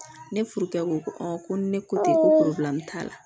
Ne furukɛ ko ko ko ko ni ne ko tɛ ko t'a la